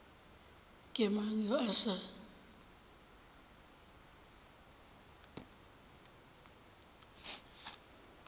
ke mang yo a sa